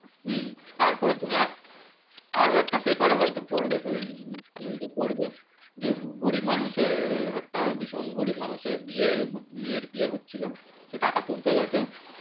হম তারপরেও তুমি একটা পেপারে হয়ত পড়বে যে গরীব মানুষের হ্যাঁ ভীষণ গরীব মানুষের বিয়ে মেয়ের বিয়ে হচ্ছিলো সে টাকা তুলতে গেছে